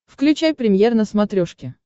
включай премьер на смотрешке